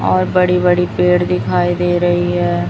और बड़ी बड़ी पेड़ दिखाई दे रही हैं।